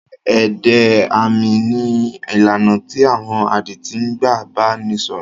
Èdè àmì ní ìlànà tí àwọn adití ń gbà bá ni sọ̀rọ̀.